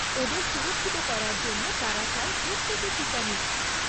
ওদের সুরক্ষিত করার জন্য তারা চায় প্রত্যেকে টিকা নিক।